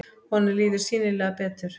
Honum líður sýnilega betur.